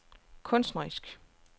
kunstnerisk